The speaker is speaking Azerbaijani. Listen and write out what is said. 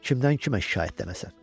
Kimdən kimə şikayətlənəsən?